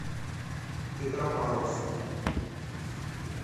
петропавловск